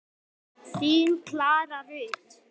Þín Klara Rut.